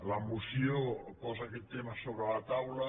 la moció posa aquest tema sobre la taula